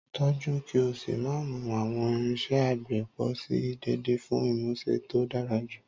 Tọ́jú kí o sì máa mú àwọn irinṣẹ́ àgbẹ̀ pọ̀ sí i déédéé fún ìmúṣe tó dára jù.